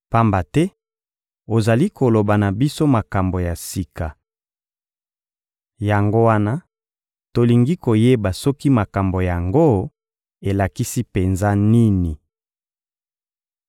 Pamba te ozali koloba na biso makambo ya sika. Yango wana, tolingi koyeba soki makambo yango elakisi penza nini.